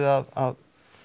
að